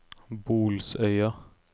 Bolsøya